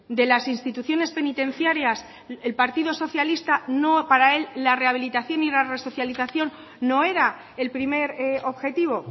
de las instituciones penitenciarias el partido socialista no para él la rehabilitación y la resocialización no era el primer objetivo